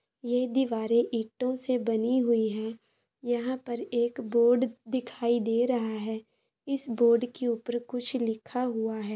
ये दीवारें ईंटों से बनी हुई हैं। यहाँ पर एक बोर्ड दिखाई दे रहा है। इस बोर्ड के ऊपर कुछ लिखा हुआ है।